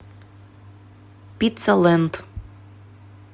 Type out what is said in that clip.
пицца лэнд